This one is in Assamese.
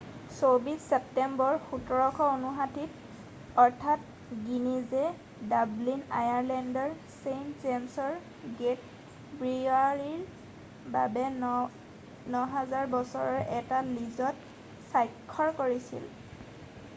২৪ ছেপ্টেম্বৰ ১৭৫৯-ত আৰ্থাৰ গিনিজে ডাব্লিন আয়াৰলেণ্ডৰ ছেইণ্ট জেম্‌ছৰ গে'ট ব্ৰিৱাৰীৰ বাবে ৯০০০ বছৰৰ এটা লীজত স্বাক্ষৰ কৰিছিল।